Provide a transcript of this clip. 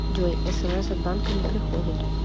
джой смс от банка не приходят